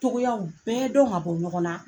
Cogoyaw bɛɛ dɔn ka bɔ ɲɔgɔn na